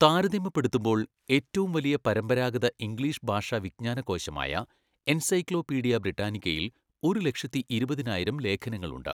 താരതമ്യപ്പെടുത്തുമ്പോൾ, ഏറ്റവും വലിയ പരമ്പരാഗത ഇംഗ്ലീഷ് ഭാഷാ വിജ്ഞാനകോശമായ എൻസൈക്ലോപീഡിയ ബ്രിട്ടാനിക്കയിൽ ഒരു ലക്ഷത്തിഇരുപതിനായിരം ലേഖനങ്ങളുണ്ട്.